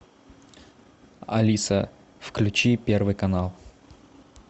алиса включи первый канал